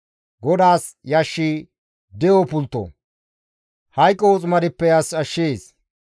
GODAAS yashshi de7o pultto; hayqo woximadeppe as ashshees.